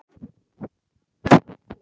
Safna kjarki.